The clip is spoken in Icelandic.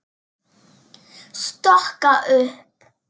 Stokka upp.